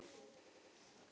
Þín Arna Vigdís.